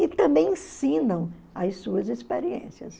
E também ensinam as suas experiências.